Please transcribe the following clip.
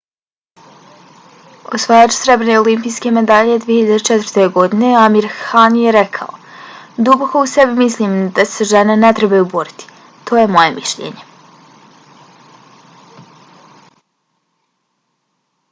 osvajač srebrne olimpijske medalje 2004. godine amir khan je rekao: duboko u sebi mislim da se žene ne trebaju boriti. to je moje mišljenje.